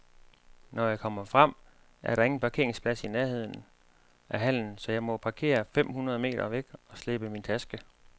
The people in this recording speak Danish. Når jeg kommer frem, er der ingen parkeringsplads i nærheden af hallen, så jeg må parkere fem hundrede meter væk og slæbe min taske.